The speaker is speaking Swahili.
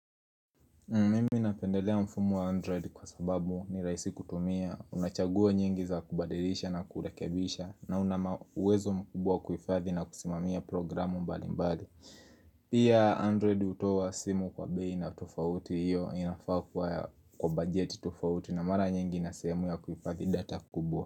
Mimi napendelea mfumo wa Android kwa sababu ni rahisi kutumia, unachagua nyingi za kubadirisha na kurekebisha na una ma uwezo mkubwa kuifadhi na kusimamia programu mbali mbali. Pia Android hutowa simu kwa bei na tofauti iyo inafaa ya kwa bajeti tofauti na mara nyingi na sehemu ya kuifadhi data kubwa.